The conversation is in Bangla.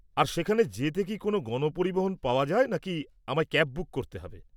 আর সেখানে যেতে কি কোনও গণপরিবহন পাওয়া যায় নাকি আমায় ক্যাব বুক করতে হবে?